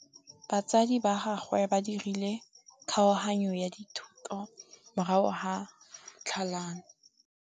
Batsadi ba gagwe ba dirile kgaoganyô ya dithoto morago ga tlhalanô.